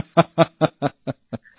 হা হা হা হাসি